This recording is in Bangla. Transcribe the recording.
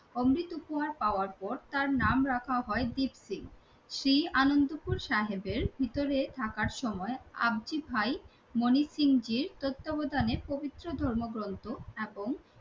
অমৃত উপহার পাওয়ার পর তার নাম রাখা হয় দীপসিং। সেই আনন্দপুর সাহেবের ভিতরে থাকার সময় আবজি ভাই মনিসিং জীর তত্ত্বাবধানে পবিত্র ধর্মগ্রন্থ এখন